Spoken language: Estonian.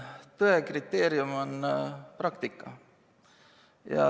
Tõe kriteerium on praktika.